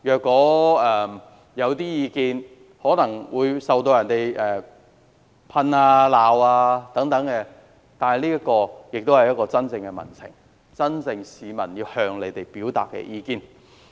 官員落區，可能會受到批評或責罵，但這也代表真正的民情，是市民真正要向官員表達的意見。